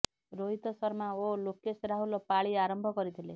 ରୋହିତ ଶର୍ମା ଓ ଲୋକେଶ ରାହୁଲ ପାଳି ଆରମ୍ଭ କରିଥିଲେ